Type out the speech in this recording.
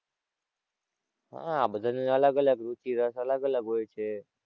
હાં બધાં ની અલગ અલગ રુચિ રસ અલગ અલગ હોય છે.